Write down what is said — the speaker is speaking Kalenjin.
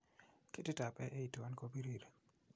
Ketitab A81 kobirir.